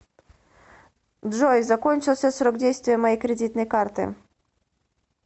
джой закончился срок действия моей кредитной карты